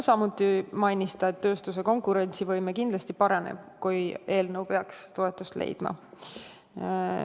Samuti mainis ta, et tööstuse konkurentsivõime kindlasti paraneb, kui eelnõu peaks toetust leidma.